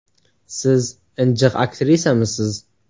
Siz injiq aktrisamisiz?